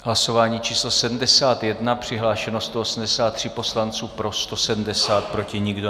Hlasování číslo 71. Přihlášeni 183 poslanci, pro 170, proti nikdo.